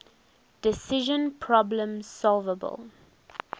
decision problems solvable